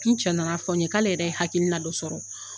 Tu cɛ nana fɔn' ye, k''ale yɛrɛ ye hakilina don sɔrɔ.